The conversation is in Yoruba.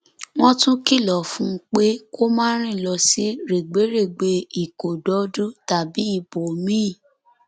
wọn tún kìlọ fún un pé kó má rìn lọ sí rẹgbẹrẹgbẹ ìkódọdù tàbí ibòmíín